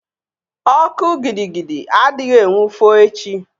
Ọkụ gidi gidi adịghị enwu foo echi